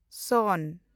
ᱥᱚᱱ